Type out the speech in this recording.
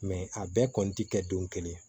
a bɛɛ kɔni ti kɛ don kelen ye